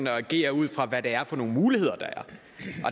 agere ud fra hvad det er for nogle muligheder der